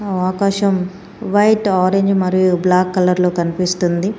ఆకాశం white orange మరియు black కలర్లో కన్పిస్తుంది.